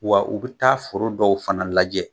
Wa u bi taa foro dɔw fana lajɛ